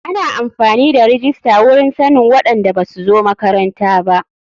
Ana amfani da rijista wurin sannin waɗanda basu zo makaranta ba.